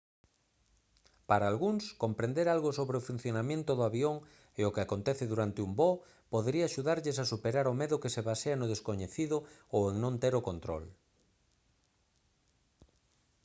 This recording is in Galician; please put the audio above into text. para algúns comprender algo sobre o funcionamento do avión e o que acontece durante un voo podería axudarlles a superar o medo que se basea no descoñecido ou en non ter o control